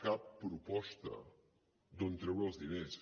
cap proposta d’on treure els diners